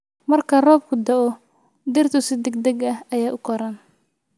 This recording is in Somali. Marka roobku da'o, dhirtu si degdeg ah ayay u koraan.